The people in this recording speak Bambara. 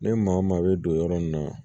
Ni maa o maa bɛ don yɔrɔ min na